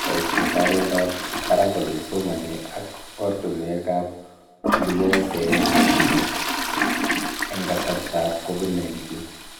Boishetab oldoab barak olekisomanee ak oratinwekab olekiyotoe somanet end kasartaab COVID-19